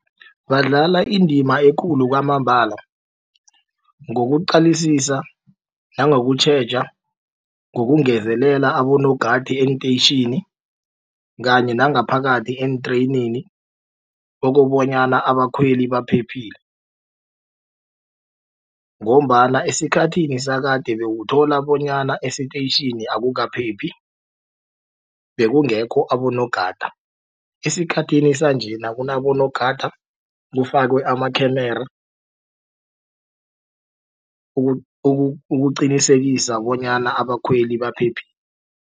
Badlala indima ekulu kwamambala ngokuqalisisa nangokutjheja ngokungezelela abonogada eenteyitjhini kanye nangaphakathi eentreyinini okobanyana abakhweli baphephile ngombana esikhathini sakade bowuthola bonyana esitetjhini akukaphephi bekungekho abonogada. Esikhathini sanje nakunabonogada kufakwe amakhamera ukuqinisekisa bonyana abakhweli